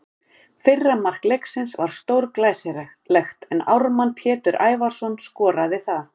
Fyrra mark leiksins var stórglæsilegt en Ármann Pétur Ævarsson skoraði það.